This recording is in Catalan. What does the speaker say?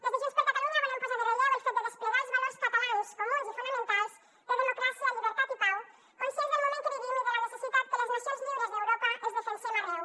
des de junts per catalunya volem posar en relleu el fet de desplegar els valors catalans comuns i fonamentals de democràcia llibertat i pau conscients del moment que vivim i de la necessitat que les nacions lliures d’europa els defensem arreu